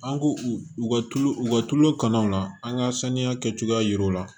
An k'u u ka tulu u ka tulu kanɔnɔ na an ka saniya kɛcogoya jira u la